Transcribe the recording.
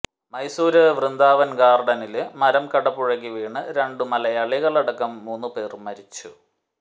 മൈസൂര് വൃന്ദാവന് ഗാര്ഡനില് മരം കടപുഴകി വീണ് രണ്ടു മലയാളികളടക്കം മൂന്നുപേര് മരിച്ചു